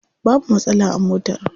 Babu matsala a motar.